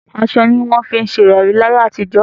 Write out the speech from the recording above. Aṣọ ní wọ́n fí ń se ìrọ̀rí ní ayé àtijọ́.